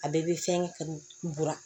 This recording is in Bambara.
A bɛɛ bɛ fɛn ka buran